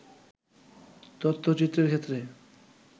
তথ্যচিত্রের ক্ষেত্রে